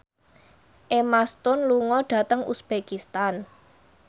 Emma Stone lunga dhateng uzbekistan